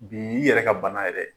Bi y'i yɛrɛ ka bana ye dɛ?